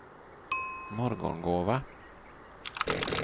Morgongåva